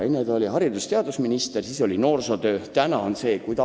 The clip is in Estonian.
Enne ta oli haridus- ja teadusminister ja tegeles noorsootööga, nüüd on see eelnõu.